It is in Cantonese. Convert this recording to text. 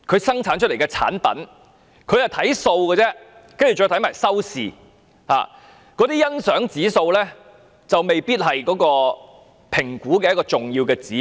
審計署看的是數字，然後是收視，但節目的欣賞指數未必是審核的一個重要指標。